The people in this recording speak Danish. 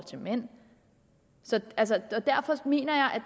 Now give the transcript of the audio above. til mænd derfor mener jeg